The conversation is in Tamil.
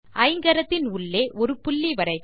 ஐங்கரத்தின் உள்ளே ஒரு புள்ளி வரைக